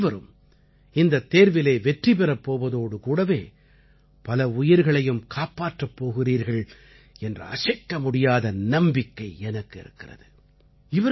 நீங்கள் அனைவரும் இந்தத் தேர்விலே வெற்றி பெறப் போவதோடு கூடவே பல உயிர்களையும் காப்பாற்றப் போகிறீர்கள் என்ற அசைக்க முடியாத நம்பிக்கை எனக்கு இருக்கிறது